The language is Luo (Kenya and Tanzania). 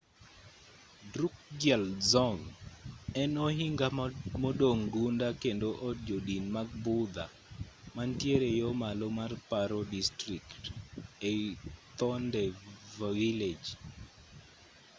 drukgyal dzong en ohinga modong' gunda kendo od jodin mag budha mantiere yo malo mar paro district ei phondey village